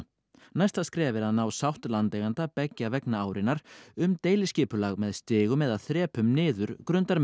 næsta skref er að ná sátt landeiganda beggja vegna árinnar um deiliskipulag með stigum eða þrepum niður